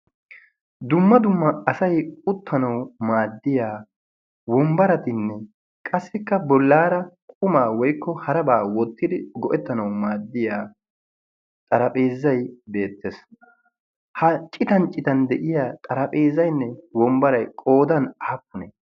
dumma dumma asay uttanawu maaddiya wombbaratinne qassikka bollaara qumaa woykko harabaa wottidi go"ettanau maaddiya xarapheezay deettees ha citan citan de'iya xarapheezaynne wombbaray qoodan aappunee